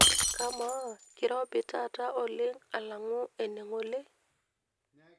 kamaa kirobi taata oleng alangu ene ngole